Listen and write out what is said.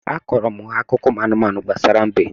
A kọọrọ m ha akụkọ ụmụ anụmanụ gbasara mbe